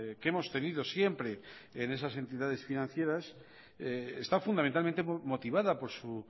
que hemos tenido siempre en esas entidades financieras está fundamentalmente motivada por su